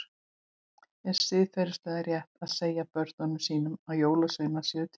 Er siðferðilega rétt að segja börnum sínum að jólasveinar séu til?